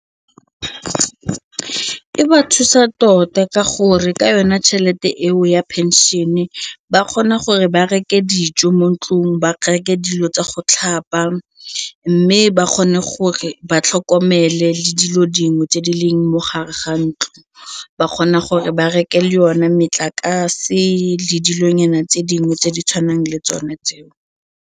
E ba thusa tota ka gore ka yona tšhelete eo ya pension-e ba kgona gore ba reke dijo mo ntlong ba reke dilo tsa go tlhapa mme ba kgone gore ba tlhokomele le dilo dingwe tse di leng mo gare ga ntlo, ba kgona gore ba reke le yone metlakase le dilonyana tse dingwe tse di tshwanang le tsone tseo.